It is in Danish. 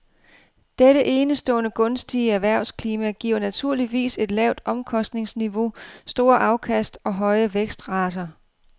Dette enestående gunstige erhvervsklima giver naturligvis et lavt omkostningsniveau, store afkast og høje vækstrater.